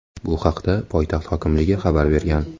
Bu haqda poytaxt hokimligi xabar bergan .